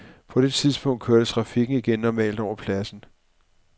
På det tidspunkt kørte trafikken igen normalt over pladsen.